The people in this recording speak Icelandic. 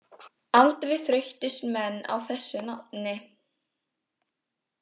Aldrei þreyttust menn á þessu nafni.